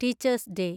teachers day